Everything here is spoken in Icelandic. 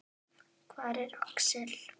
Hvar er Axel?